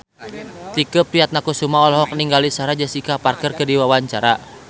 Tike Priatnakusuma olohok ningali Sarah Jessica Parker keur diwawancara